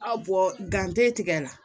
Aw tigɛ la